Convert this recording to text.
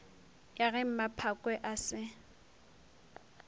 ya ge mmaphakwe a se